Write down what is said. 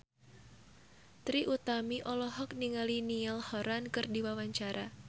Trie Utami olohok ningali Niall Horran keur diwawancara